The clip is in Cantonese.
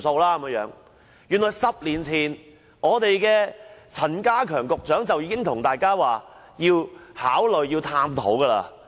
原來在10年前，時任陳家強局長已公開表示會考慮探討差餉寬免。